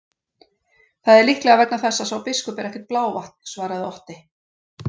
Það er líklega vegna þess að sá biskup er ekkert blávatn, svaraði Otti.